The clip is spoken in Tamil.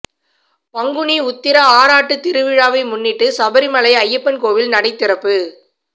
பங்குனி உத்திர ஆறாட்டு திருவிழாவை முன்னிட்டு சபரி மலை ஐயப்பன் கோவில் நடை திறப்பு